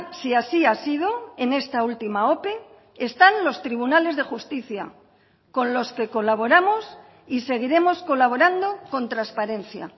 si así ha sido en esta última ope están los tribunales de justicia con los que colaboramos y seguiremos colaborando con transparencia